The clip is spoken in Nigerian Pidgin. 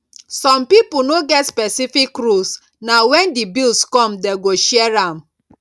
some pipo no get specific rules na when di bills come dem go share am